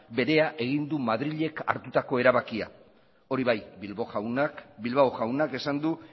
berea egin du madrilek hartutako erabakia hori bai bilbao jaunak esan du